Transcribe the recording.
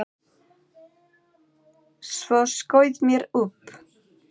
Svo skaut mér upp.